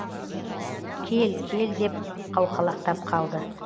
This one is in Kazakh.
кел кел деп қауқалақтап қалды